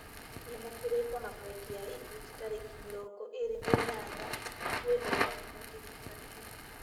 ndĩna kĩrĩko na bengi ya equity tarĩki mĩrongo ĩĩrĩ na inyanya ngũkwĩhoya ũndirikanie